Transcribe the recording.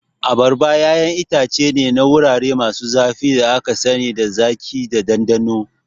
Abarba ƴaƴan itace ne na wurare masu zafi da aka sani da zaƙi da ɗanɗano.